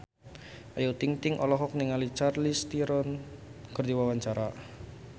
Ayu Ting-ting olohok ningali Charlize Theron keur diwawancara